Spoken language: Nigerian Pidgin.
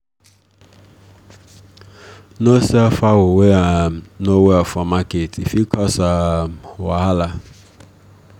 no sell fowl wey um no well for market e fit cause um wahala